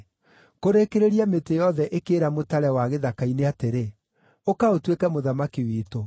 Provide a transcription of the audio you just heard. “Kũrĩkĩrĩria mĩtĩ yothe ĩkĩĩra mũtare wa gĩthaka-inĩ atĩrĩ, ‘Ũka ũtuĩke mũthamaki witũ.’